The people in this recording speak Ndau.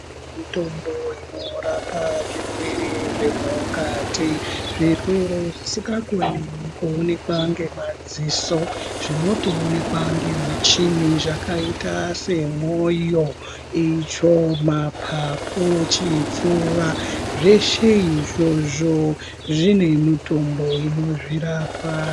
Mitombo inorapa zvirwere zvemukati zvirwere zvisikakoni kuoneka ngemadziso zvinotoonekwa nemichini zvakaita semwoyo, itsvo, mapapu, chipfuwa zveshe izvozvo zvine mitombo inozvirapa.